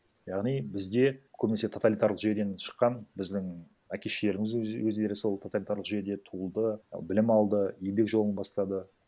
яғни бізде көбінесе тоталитарлық жүйеден шыққан біздің әке шешелеріміз өздері сол тоталитарлық жүйеде туылды і білім алды еңбек жолын бастады